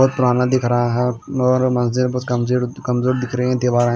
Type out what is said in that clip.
बहुत पुराना दिख रहा है और मंज़िल बहुत कमज़ोर दिख रही है दीवारे।